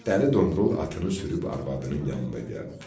Dəli Domrul atını sürüb arvadının yanına gəldi.